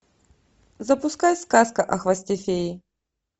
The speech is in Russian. запускай сказка о хвосте феи